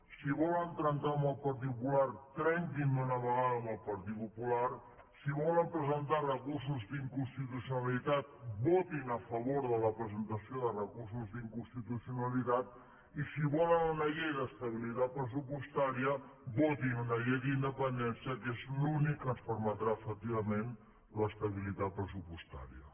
si volen trencar amb el partit popular trenquin d’una vegada amb el partit popular si volen presentar recursos d’inconstitucionalitat votin a favor de la presentació de recursos d’inconstitucionalitat i si volen una llei d’estabilitat pressupostària votin una llei d’independència que és l’únic que ens permetrà efectivament l’estabilitat pressupostària